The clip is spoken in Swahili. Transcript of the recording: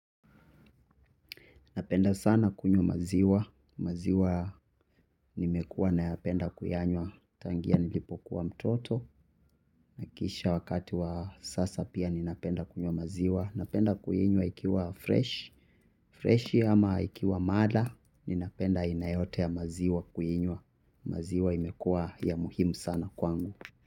Napenda sana kunywa maziwa, maziwa nimekua nayapenda kuyanywa tangia nilipokuwa mtoto. Nahakisha wakati wa sasa pia ninapenda kunywa maziwa. Napenda kuinywa ikiwa freshi, freshi ama ikiwa mala ninapenda aina yote ya maziwa kuinywa. Maziwa imekua ya muhimu sana kwangu.